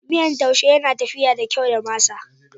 Miyan taushe yana tafiya da kyau da masa.